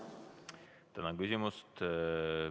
Tänan küsimast!